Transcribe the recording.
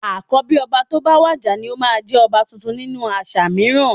Àkọ́bí ọba tó bá wàjà ni ó máa ń jẹ ọba tuntun nínú àṣà mìíràn